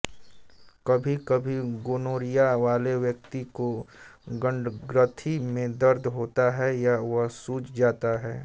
कभीकभी गोनोरिया वाले व्यक्ति को अंडग्रंथि में दर्द होता है या वह सूज जाता है